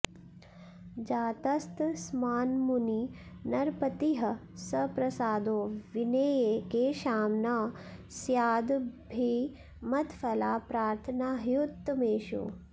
जातस्तस्मान्मुनिनरपतिः सप्रसादो विनेये केषां न स्यादभिमतफला प्रार्थना ह्युत्तमेषु